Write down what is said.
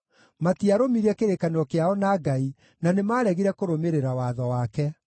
matiarũmirie kĩrĩkanĩro kĩao na Ngai, na nĩmaregire kũrũmĩrĩra watho wake.